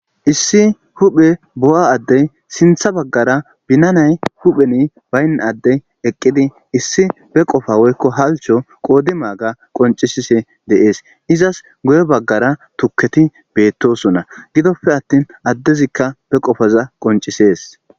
issi huphe bo7a addey sintha baggara binanay hupheni bayn addey eqqidi issi be qofa woykko halcho qoodi maaga qoncisise deees izas goye baggara tukketi beettosonna gidoppe attin addezikka be qofaza qoncisees